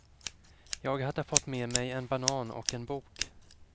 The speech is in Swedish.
Jag hade fått med mig en banan och en bok.